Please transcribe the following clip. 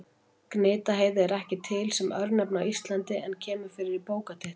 Gnitaheiði er ekki til sem örnefni á Íslandi en kemur fyrir í bókartitli.